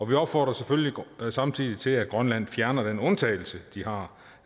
vi opfordrer selvfølgelig samtidig til at grønland fjerner den undtagelse de har